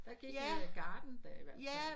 Der gik den der garden da i hvert fald